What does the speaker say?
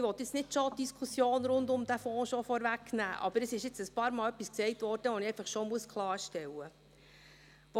Ich will nicht die Diskussion rund um den Fonds vorwegnehmen, aber es wurde einige Male etwas gesagt, dass ich klarstellen will.